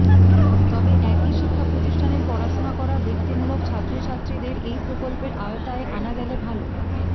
তবে একই শিক্ষা প্রতিষ্ঠানের পড়াশোনা করা বৃত্তিমূলক ছাত্র ছাত্রীদের এই প্রকল্পের আওতায় আনা গেলে ভালো